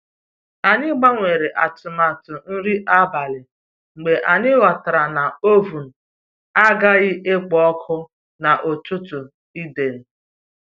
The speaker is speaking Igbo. Anyị gbanwere atụmatụ nri abalị mgbe anyị ghọtara na oven agaghị ekpo ọkụ n'ụtụtụ Eid